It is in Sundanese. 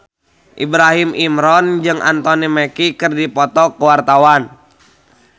Ibrahim Imran jeung Anthony Mackie keur dipoto ku wartawan